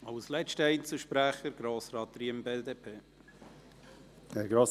Als letzter Einzelsprecher hat Grossrat Riem, BDP, das Wort.